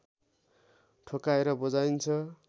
ठोक्काएर बजाइन्छ